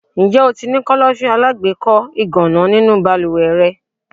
Ǹjẹ́ o ti ní Kọ́lọ́fín alágbèékọ́ ìgànná nínú balúwẹ́ rẹ?